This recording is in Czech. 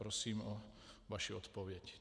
Prosím o vaši odpověď.